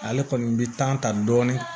Ale kɔni bi ta dɔɔni